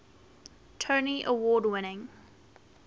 tony award winning